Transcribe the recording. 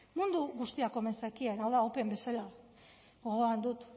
mundu guztiak omen zekien hau da open bezala gogoan dut